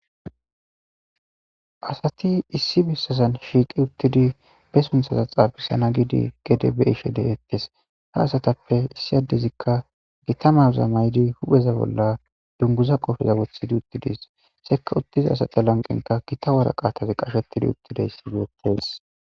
asati issi bissazan shiiqi uttidi be sunthaza xaabisana gidi gede be ishe de7ettes ha asatappe issi addezikka gitamaza maydi hupheza bolla dunguza qofeza wothidi uttidis sekka uttiza asata lanqenka gita waraqatazi qashetidi uttida issideettees